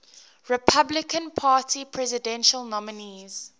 republican party presidential nominees